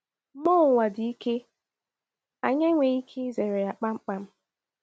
Mmụọ ụwa dị ike, anyị enweghị ike izere ya kpamkpam.